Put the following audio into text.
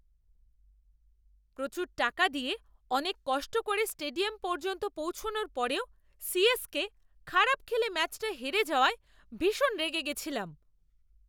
প্রচুর টাকা দিয়ে অনেক কষ্ট করে স্টেডিয়াম পর্যন্ত পৌঁছনোর পরেও সিএসকে খারাপ খেলে ম্যাচটা হেরে যাওয়ায় ভীষণ রেগে গেছিলাম।